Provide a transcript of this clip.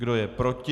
Kdo je proti?